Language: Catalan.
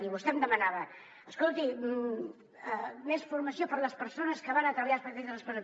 i vostè em demanava escolti més formació per a les persones que van a treballar als patis de les presons